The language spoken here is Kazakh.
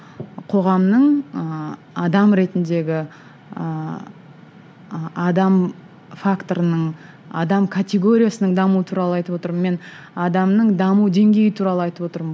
қоғамның ы адам ретіндегі ыыы адам факторының адам категориясының дамуы туралы айтып отырмын мен адамның даму деңгейі туралы айтып отырмын